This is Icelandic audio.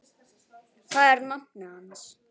Það er nafnið hans.